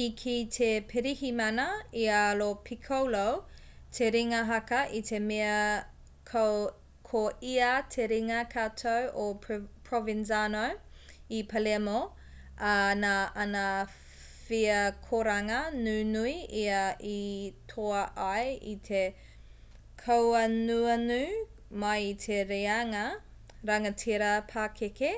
i kī te pirihimana i a lo piccolo te ringa haka i te mea ko ia te ringa katau o provenzano i palermo ā nā ana wheakoranga nunui ia i toa ai i te kauanuanu mai i te reanga rangatira pakeke